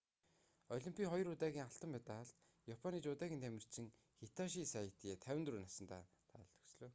олимпийн хоёр удаагийн алтан медалт японы жүдогийн тамирчин хитоши сайто 54 насандаа таалал төгслөө